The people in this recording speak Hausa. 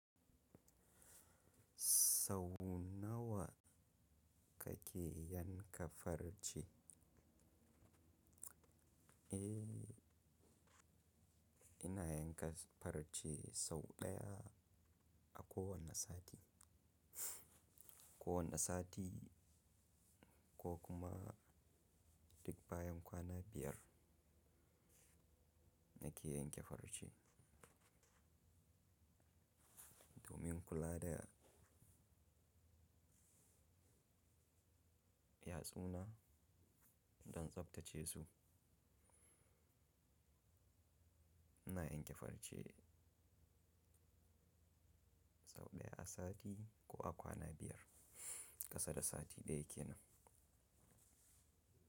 Sau nawa kake yanka farce? Eh, ina yanka farce sau ɗaya a kowane sati. Ko wane sati ko kuma duk bayan kwana biyar nake yanke farce. Domin kula da yatsuna don tsabtace su, ina yanke farce sau ɗaya a sati ko a kwana biyar, ƙasa da sati ɗaya ke nan.